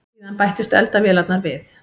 Síðan bættust eldavélarnar við.